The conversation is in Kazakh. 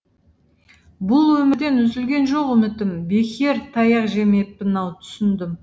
бұл өмірден үзілген жоқ үмітім бекер таяқ жемеппін ау түсіндім